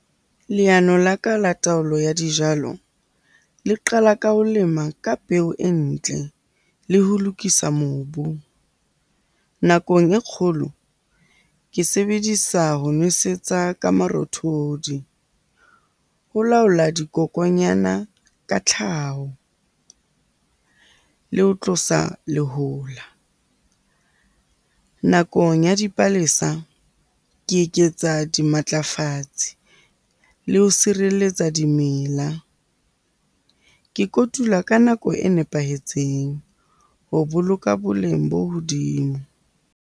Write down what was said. Leano la ka la taolo ya dijalo le qala ka ho lema ka peo e ntle le ho lokisa mobu. Nakong e kgolo ke sebedisa ho nwesetsa ka marothodi ho laola dikokonyana ka tlhaho, le ho tlosa lehola. Nakong ya dipalesa ke eketsa dimatlafatsi le ho sireletsa dimela. Ke kotula ka nako e nepahetseng ho boloka boleng bo hodimo.